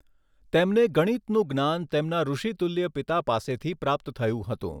તેમને ગણિતનું જ્ઞાન તેમના ૠષિતુલ્ય પિતા પાસેથી પ્રાપ્ત થયું હતું.